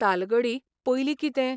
तालगडी पयलीं कितें?